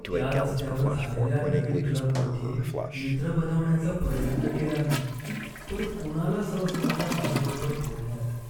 त्या रस्त्यावर झालेल्या नवीन क्लबमध्ये मित्र बनवण्याचा प्रयत्न केला मी, पण कोणालाच रस नव्हता माझ्याबरोबर बोलण्यात.